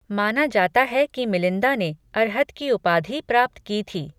माना जाता है कि मिलिंदा ने अर्हत की उपाधि प्राप्त की थी।